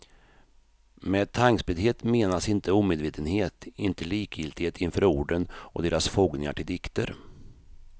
Med tankspriddhet menas inte omedvetenhet, inte likgiltighet inför orden och deras fogningar till dikter.